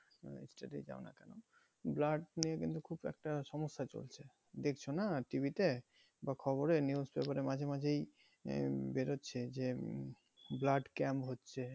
রাজ্যতেই যাও না কেন blood নিয়ে কিন্তু খুব একটা সমস্যা চলছে। দেখছো না টিভিতে বা খবরে news paper এ মাঝেমাঝেই বেরোচ্ছে যে উম blood camp হচ্ছে।